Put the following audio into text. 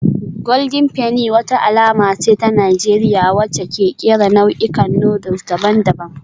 Golden Penny wata alama ce ta Najeriya wacce ke kera nau'ikan noodles daban-daban